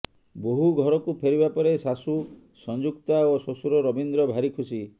ବୋହୂ ଘରକୁ ଫେରିବା ପରେ ଶାଶୂ ସଞ୍ଜୁକ୍ତା ଓ ଶ୍ୱଶୁର ରବୀନ୍ଦ୍ର ଭାରି ଖୁସି